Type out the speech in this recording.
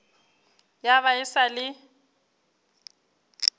ya ba e sa le